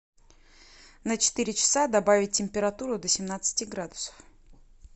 на четыре часа добавить температуру до семнадцати градусов